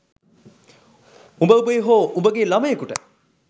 උබ උබේ හෝ උබගේ ළමයෙකුට